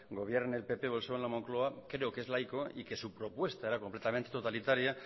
gobierne el pp o el psoe en la moncloa creo que es laico y que su propuesta era completamente totalitaria